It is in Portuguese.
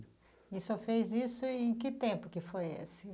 E o senhor fez isso em que tempo que foi esse?